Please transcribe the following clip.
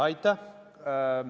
Aitäh!